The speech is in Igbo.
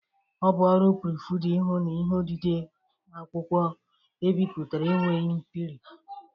Ọ bụ ọrụ prufrida ihu na ihe odide akwụkwọ ebipụtere enweghị mperi